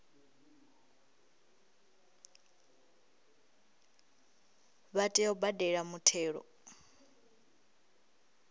vha tea u badela muthelo